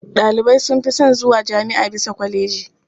Ɗalibai sun fi son zuwa jami'a bisa kwaleji.